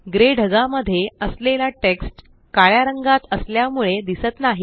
grey ढगामध्ये असलेला text काळ्या रंगात असल्यामुळे दिसत नाही